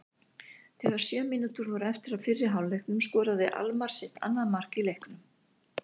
Þegar sjö mínútur voru eftir af fyrri hálfleiknum skoraði Almarr sitt annað mark í leiknum.